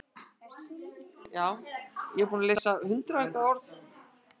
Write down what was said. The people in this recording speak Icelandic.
Hannes lék framarlega á miðjunni í kvöld en Matthías Vilhjálmsson fór út á hægri kantinn.